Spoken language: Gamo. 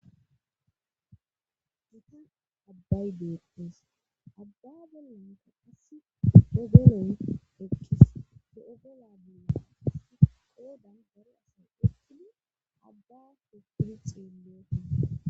gita abbay beetees abba bolonta assi dogoloy ekkis te7ogola bea as qoodan baro asay utili abba po puli xeelooti